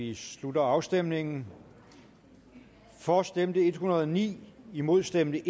vi slutter afstemningen for stemte en hundrede og ni imod stemte